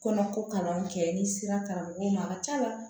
Kɔnɔko kalan kɛ n'i sera karamɔgɔw ma a ka c'a la